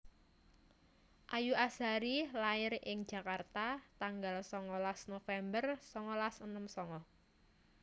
Ayu Azhari lair ing Jakarta tanggal songolas November songolas enem songo